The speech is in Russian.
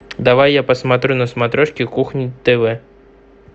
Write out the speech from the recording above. давай я посмотрю на смотрешке кухня тв